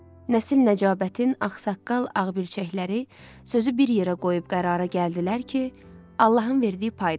Nəsil-Nəcabətini, ağsaqqal, ağbircəkləri sözü bir yerə qoyub qərara gəldilər ki, Allahın verdiyi paydır.